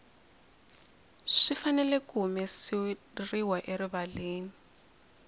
swi fanele ku humeseriwa erivaleni